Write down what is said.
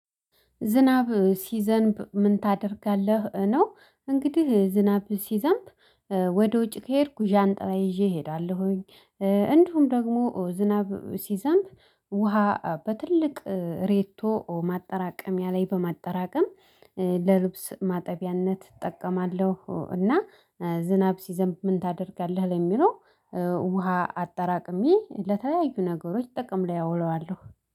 ዝናብ ሲዘንብ ምን ታደርጋለህ? ነው እንግዲህ ዝናብ ሲዘንብ ወደ ውጪ ከሄድኩ ዣንጣላ ይዤ እሄዳለሁኝ። እንዲሁም ደግሞ ዝናብ ሲዘንብ ውሃ በትልቅ ሬቶ ማጠራቀሚያ ላይ በማጠራቀም ለልብስ ማጠቢያነት እጠቀማለሁ። እና ዝናብ ሲዘንብ ምን ታደርጋለህ? ለሚለው ውሃ አጠራቅሜ ለተለያዩ ነገሮች ጥቅም ላይ አውለዋለሁ